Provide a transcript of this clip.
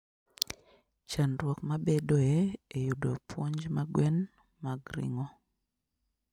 Chandruok mabedoe e yudo puonj ma gwen ma g ring'o.